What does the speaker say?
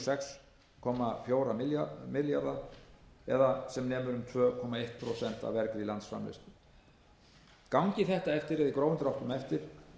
sex komma fjóra milljarða króna það er sem nemur um tvö komma eitt prósent af vergri landsframleiðslu gangi þetta í grófum dráttum eftir